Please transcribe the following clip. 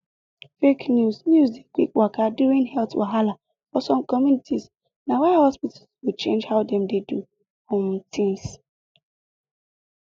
fake news news dey quick waka during health wahala for some communities na why hospitals go change how dem dey do um things